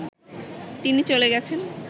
তিনি চলে গেছেন